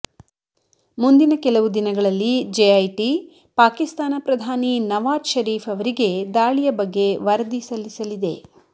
ಮುಂದಿನ ಕೆಲವು ದಿನಗಳಲ್ಲಿ ಜೆಐಟಿ ಪಾಕಿಸ್ತಾನ ಪ್ರಧಾನಿ ನವಾಜ್ ಷರೀಫ್ ಅವರಿಗೆ ದಾಳಿಯ ಬಗ್ಗೆ ವರದಿ ಸಲ್ಲಿಸಲಿದೆ